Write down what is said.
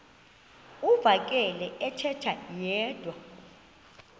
uvakele ethetha yedwa